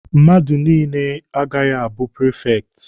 Mmadụ niile agaghị abụrịrị prifekti!